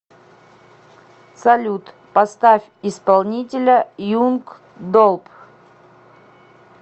салют поставь исполнителя юнг долп